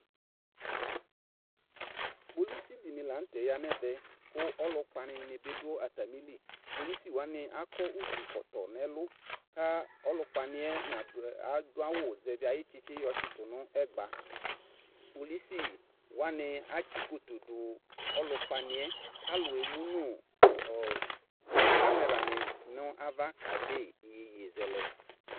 Kpolusi dɩnɩ la nʋtɛ ya n'ɛvɛ : kʋ ɔlʋkpanɩ nɩ bɩ dʋ atamili ; kpolusi wanɩ akɔ utukɔtɔ n'ɛlʋ , ka ɔlʋkpanɩɛ nadʋ adʋawʋ zɛvɩ ayʋ tsitsiɛ yɔ tsɩtʋ nʋ ɛgba Kpolusi wanɩ atsɩkoto dʋ ɔlʋkpanɩɛ; k'alʋ emu nʋ ɔɔ kameranɩ n'ava kede iyeyezɛlɛ